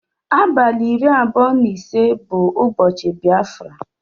Abali iri abụọ na ise bu ụbochi biafra.